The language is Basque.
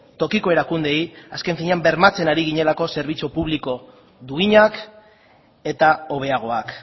tokiko erakundeei azken finean bermatzen ari ginelako zerbitzu publiko duinak eta hobeagoak